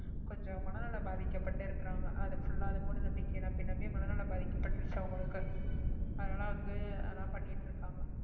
கொஞ்சம் மனநலம் பாதிக்கப்பட்டு இருக்கிறாங்க அதை full ஆ அதை மூடநம்பிக்கையை நம்பி நம்பி மனநலம் பாதிக்கப்பட்டிருச்சு அவங்களுக்கு அதனாலே வந்து அதெல்லாம் பண்ணிட்டு இருக்காங்க